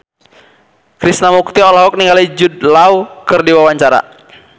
Krishna Mukti olohok ningali Jude Law keur diwawancara